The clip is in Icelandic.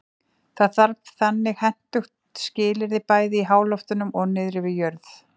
Það þarf þannig hentug skilyrði bæði í háloftunum og niðri við jörð.